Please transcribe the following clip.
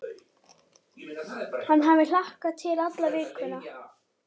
Hann hafi hlakkað til alla vikuna.